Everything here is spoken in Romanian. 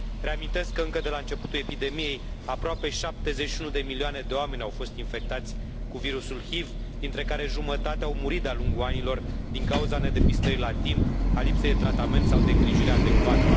Reamintesc că, încă de la începutul epidemiei, aproape 71 de milioane de oameni au fost infectați cu virusul HIV, dintre care jumătate au murit de a lungul anilor din cauza nedepistării la timp, a lipsei de tratament sau de îngrijire adecvată.